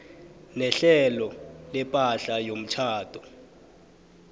nehlelo lepahla yomtjhado